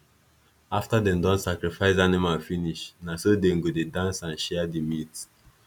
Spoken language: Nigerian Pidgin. afta them don sacrifice animal finish na so them go dey dance and share the meat